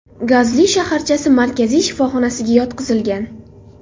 Gazli shaharchasi markaziy shifoxonasiga yotqizilgan.